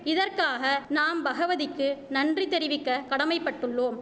இதற்காக நாம் பகவதிக்கு நன்றி தெரிவிக்க கடமைப்பட்டுள்ளோம்